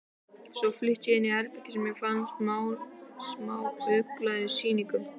Svo flutti ég í herbergi sem ég fann í smáauglýsingunum.